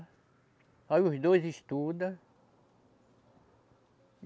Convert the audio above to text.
Aí os dois estuda.